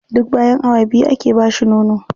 Duk bayan awa biyu ake ba shi nono.